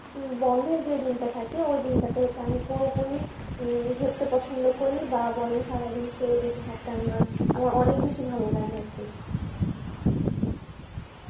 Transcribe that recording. বন্ধের যে দিনটা থাকে ওই দিনটাতে হচ্ছে আমি পুরোপুরি ঘুরতে পছন্দ করি বা বলেন সারাদিন শুয়ে বসে থাকতে আমার আমার অনেক বেশি ভালো লাগে আর কি